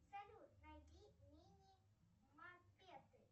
салют найди мини мопеды